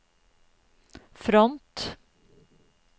front